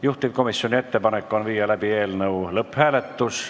Juhtivkomisjoni ettepanek on läbi viia lõpphääletus.